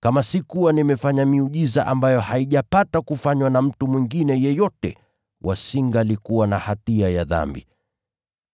Kama sikuwa nimefanya miujiza ambayo haijapata kufanywa na mtu mwingine yeyote, wasingalikuwa na hatia ya dhambi.